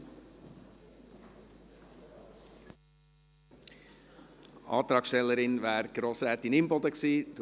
Die Antragstellerin wäre Grossrätin Imboden gewesen.